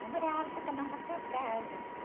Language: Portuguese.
Namorava, ia para, cada um para as suas casas.